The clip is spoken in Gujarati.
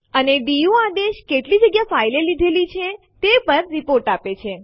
અને ડીયુ આદેશ કેટલી જગ્યા ફાઇલ એ લીધેલ છે તે પર રીપોર્ટ આપે છે